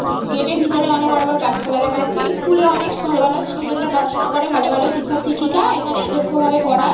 Gate এর ভেতরে অনেক বড় বড় গাছপালা দেখা যাচ্ছে স্কুলে অনেক ভালো ভালো স্টুডেন্ট রা পড়াশোনা করে ভালো ভালো শিক্ষক - শিক্ষিকা এখানে দক্ষভাবে পড়ায়।